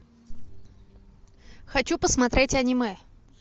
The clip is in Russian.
хочу посмотреть аниме